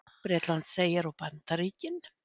Bretlandseyjar og Bandaríkin.